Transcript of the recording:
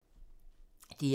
DR2